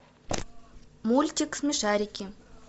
мультик смешарики